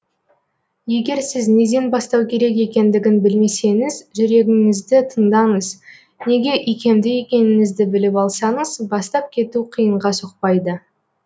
егер сіз неден бастау керек екендігін білмесеңіз жүрегіңізді тыңдаңыз неге икемді екеніңізді біліп алсаңыз бастап кету қиынға соқпайды